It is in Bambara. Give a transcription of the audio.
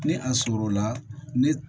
Ni a sɔrɔ la ne